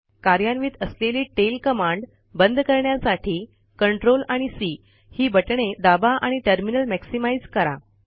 कार्यान्वित असलेली tail command बंद करण्यासाठी Ctrl आणि सी ही बटणे दाबा आणि टर्मिनल मॅक्सिमाइझ करा